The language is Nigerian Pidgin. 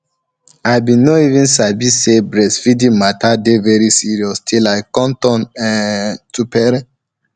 i bin no even sabi say breastfeeding mata dey very serious till i come turn um to um parent